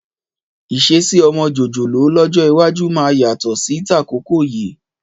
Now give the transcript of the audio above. Ìṣesí ọmọ jòjòló lọ́jọ́ iwájú máa yàtọ̀ sí tàkókò yìí.